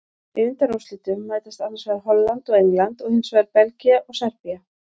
Í undanúrslitum mætast annars vegar Holland og England og hinsvegar Belgía og Serbía.